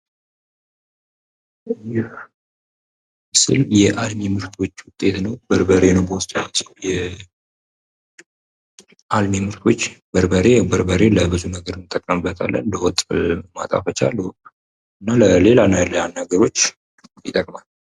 ይህ ምስል ለአልሚ ምርቶች ውጤት ነው። በርበሬ ነው በውስጡ የያዘው። የአልሚ ምርቶች በርበሬ ያው በርበሬ ለብዙ ነገር እንጠቀምበታለን። ለወጥ ማጣፈጫ እና ለሌላ ነገሮች ይጠቅማል።